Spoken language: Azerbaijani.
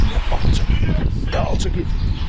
Nə alçaq, nə alçaq biriyəm.